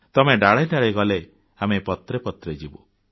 ତମେ ଡାଳେ ଡାଳେ ଗଲେ ଆମେ ପତ୍ରେ ପତ୍ରେ ଯିବୁ